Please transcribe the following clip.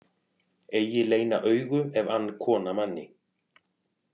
Eigi leyna augu ef ann kona manni.